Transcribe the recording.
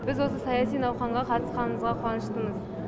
біз осы саяси науқанға қатысқанымызға қуаныштымыз